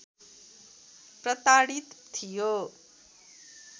प्रताडित थियो